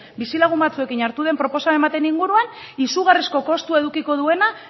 bizilagun batzuekin hartu den proposamen baten inguruan izugarrizko kostu edukiko duena